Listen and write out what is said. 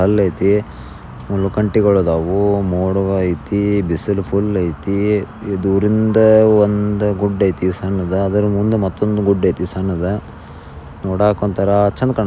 ಮುಳ್ಳು ಬಟ್ಟೆಗಳು ಇದಾವು ಮೋಡ ಅಯ್ತಿ ಬಿಸಿಲು ಫುಲ್ ಅಯ್ತಿ ದೂರದಿಂದ ಒಂದು ಗುಡ್ಡ ಅಯ್ತಿ ಸಣ್ಣದು ಅದಟ ಮುಂದೆ ಮತ್ತೊಂದ ಸಣ್ಣ ದು ನೋಡಕ್ ಒಂತರ ಹಂದ ಕಣ್ಣಕಣತತೈತಿ ಫೀಲ್ ಬರತೇತಿ.